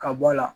Ka bɔ a la